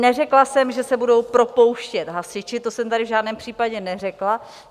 Neřekla jsem, že se budou propouštět hasiči, to jsem tady v žádném případě neřekla.